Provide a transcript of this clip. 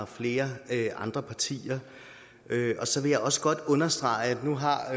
flere andre partier så vil jeg også godt understrege at nu har